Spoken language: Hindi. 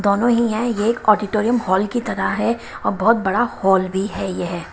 दोनों ही है ये एक ऑडिटोरियम हॉल की तरह है और बहुत बड़ा हॉल भी है यह--